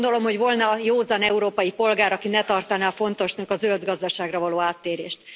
Nem gondolom, hogy volna józan európai polgár, aki ne tartaná fontosnak a zöld gazdaságra való áttérést.